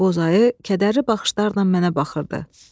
Boz ayı kədərli baxışlarla mənə baxırdı.